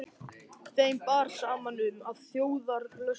Þeim bar saman um, að þjóðarlöstur